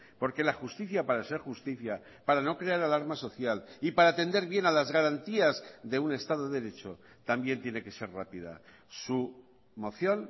porque la justicia para ser justicia para no crear la alarma social y para atender bien a las garantías de un estado de derecho también tiene que ser rápida su moción